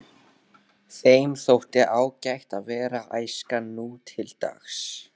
Þeim þótti ágætt að vera æskan nútildags.